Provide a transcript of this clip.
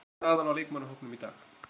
Hvernig er staðan á leikmannahópnum í dag?